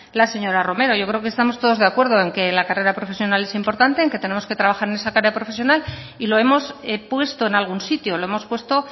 la señora romero yo creo que estamos todos de acuerdo en que la carrera profesional es importante en que tenemos que trabajar en esa carrera profesional y lo hemos puesto en algún sitio lo hemos puesto